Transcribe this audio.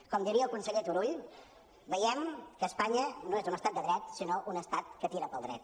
com diria el conseller turull veiem que espanya no és un estat de dret sinó un estat que tira pel dret